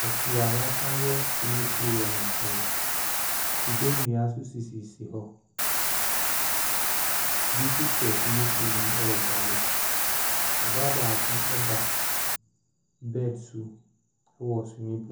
Po a yɛasan ayɛ swimming pool wɔ ne nkyɛn. Kube nnua nso sisisi hɔ. Obi nso hyɛ swimming no mu ɛredware. Ɔbaa baako ɛda bed so wɔ swimming .